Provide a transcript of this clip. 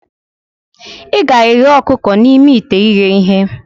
Ị ga-eghe ọkụkọ n'ime ite ighe ihe.